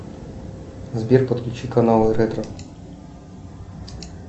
сбер подключи канал ретро